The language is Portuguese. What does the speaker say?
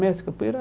Mestre capoeira?